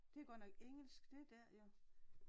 Det godt nok engelsk det der jo